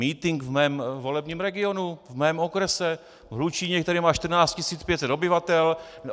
Mítink v mém volebním regionu, v mém okrese, v Hlučíně, který má 14 500 obyvatel.